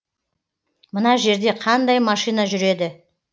мына жерде қандай машина жүреді